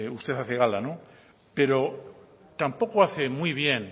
usted hace gala pero tampoco hace muy bien